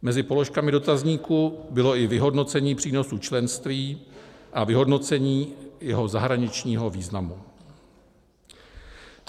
Mezi položkami dotazníku bylo i vyhodnocení přínosu členství a vyhodnocení jeho zahraničního významu.